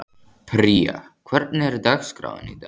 Pría, hvernig er dagskráin í dag?